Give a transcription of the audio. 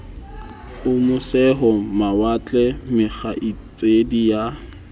o moseho mawatle mmekgaitsedi ya